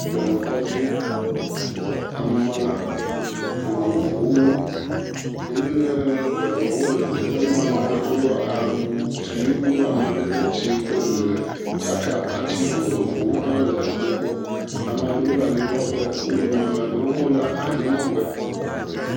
Dɔnɔkɔdzi ame vovovowo nye dɔnɔwo le teƒema ame aɖewo awu siwo do amadede dzĩ kple ɣi tsaka abati vovovowo ha le wogbɔ ame aɖewo le anyimlɔƒe wodome ame aɖewo ha le anyinɔƒe